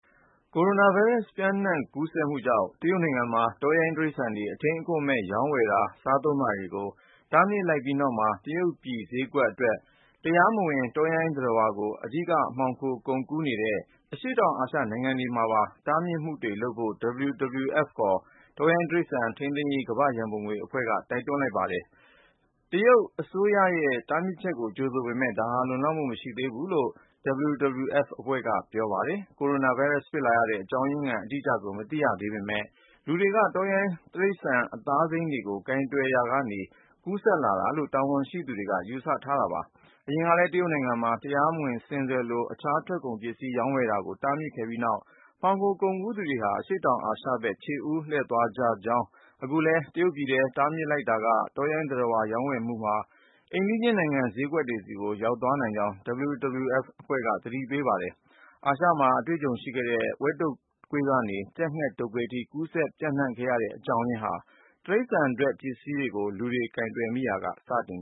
ကိုရိုနာဗိုင်းရပ်စ် ပျံ့နှံ့ကူးစက်မှုကြောင့် တရုတ်နိုင်ငံမှာ တောရိုင်းတိရစ္ဆာန်တွေ အထိန်းအကွပ်မဲ့ ရောင်းဝယ်တာ၊ စားသုံးတာတွေကို တားမြစ်လိုက်ပြီးနောက်မှာ တရုတ်ပြည်ဈေးကွက်အတွက် တရားမဝင် တောရိုင်းသတ္တဝါကို အဓိက မှောင်ခိုကုန်ကူးနေတဲ့ အရှေ့တောင်အာရှ နိုင်ငံတွေမှာပါ တားမြစ်မှုတွေလုပ်ဖို့ WWF ခေါ် တောရိုင်းတိရစ္ဆာန် ထိန်းသိမ်းရေး ကမ္ဘာ့ရန်ပုံငွေအဖွဲ့က တိုက်တွန်းလိုက်ပါတယ်။ တရုတ်အစိုးရရဲ့ တားမြစ်ချက်ကို ကြိုဆိုပေမယ့် ဒါဟာ လုံလောက်မှု မရှိသေးဘူးလို့ WWF အဖွဲ့က ပြောပါတယ်။ ကိုရိုနာဗိုင်းရပ်စ် ဖြစ်လာရတဲ့ အကြောင်းရင်းခံ အတိအကျကို မသိရသေးပေမယ့် လူတွေက တောရိုင်းသတ္တဝါ အသားစိမ်းတွေကို ကိုင်တွယ်ရာကနေ ကူးစက်လာတာလို့ တာဝန်ရှိသူတွေ ယူဆထားကြတာပါ။ အရင်ကလည်း တရုတ်နိုင်ငံမှာ တရားမဝင် ဆင်စွယ်လို တခြားထွက်ကုန်ပစ္စည်း ရောင်းဝယ်တာကို တားမြစ်ခဲ့ပြီးနောက် မှောင်ခိုကုန်ကူးသူတွေဟာ အရှေ့တောင်အာရှဘက် ခြေဦးလှည့်သွားကြကြောင်း၊ အခုလည်း တရုတ်ပြည်ထဲ တားမြစ်လိုက်တာက တောရိုင်းသတ္တဝါ ရောင်းဝယ်မှုဟာ အိမ်နီးချင်းနိုင်ငံ ဈေးကွက်တွေဆီ ရောက်သွားနိုင်ကြောင်း WWF အဖွဲ့က သတိပေးနေပါတယ်။ အာရှမှာ အတွေ့အကြုံရှိခဲ့တဲ့ ဝက်တုပ်ကွေးကနေ ကြက်ငှက်တုပ်ကွေးအထိ ကူးစက်ပျံ့နှံ့ခဲ့ရတဲ့ အကြောင်းရင်းဟာ တိရစ္ဆာန်ထွက်ပစ္စည်းကို လူတွေ ကိုင်တွယ်မိရာက စတင်